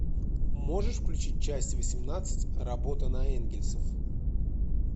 можешь включить часть восемнадцать работа на энгельсов